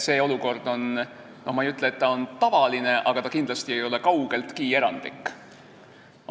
Ma ei ütle, et see olukord on tavaline, aga ta ei ole kaugeltki erandlik.